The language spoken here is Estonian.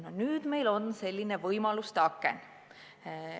Nüüd ongi meie ees avanenud selliste võimaluste aken.